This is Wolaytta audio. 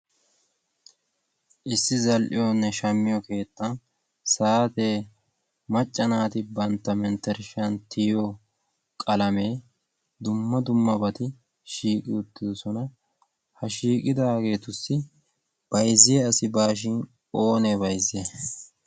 issi zal'iyoonne shammiyo keetan saatee maccanaati bantta menttershshiyan tiyo qalamee dumma dumma bati shiiqi uttidosona. ha shiiqidaageetussi bayzziya asi baashin oonee bayzze